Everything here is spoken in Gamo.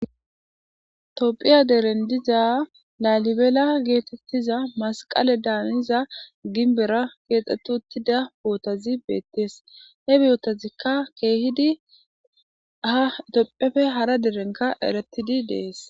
Toopphiya deren diza laalibela geetettiza masqale daaniza ginbera keexxetti uttida bootazi beettees he biyotazikka keehidi ha tophefe hara derenka eretidi dees.